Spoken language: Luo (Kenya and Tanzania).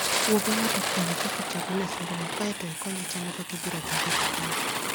Wuo gi ng'ato e wi kaka itiyo gi masindno, kae to ikonye chano kaka obiro madho kahawa.